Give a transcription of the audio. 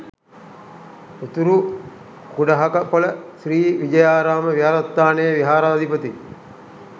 උතුරු කුඩහකපොළ ශ්‍රී විජයාරාම විහාරස්ථානයේ විහාරාධිපති